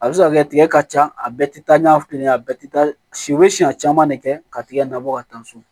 A bɛ se ka kɛ tigɛ ka ca a bɛɛ tɛ taa ɲɛ fili ye a bɛɛ tɛ taa si u bɛ siɲɛ caman de kɛ ka tigɛ na bɔ ka taa so